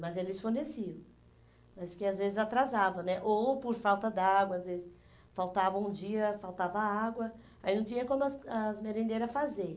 Mas eles forneciam, mas que às vezes atrasava né, ou por falta d'água, às vezes faltava um dia, faltava água, aí não tinha como as as merendeiras fazer.